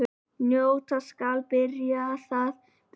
Njóta skal byrjar þá býðst.